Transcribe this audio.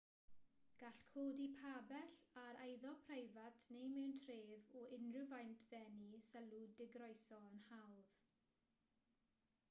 gall codi pabell ar eiddo preifat neu mewn tref o unrhyw faint ddenu sylw digroeso yn hawdd